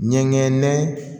Ɲɛgɛn nɛgɛn